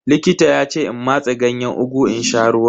Likita ya ce in matse Ganyen ugu in sha ruwan.